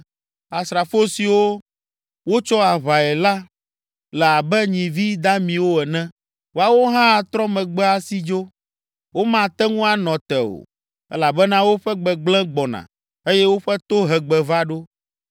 Asrafo siwo wotsɔ aʋae la le abe nyivi damiwo ene. Woawo hã atrɔ megbe asi adzo, womate ŋu anɔ te o, elabena woƒe gbegblẽ gbɔna eye woƒe tohegbe va ɖo.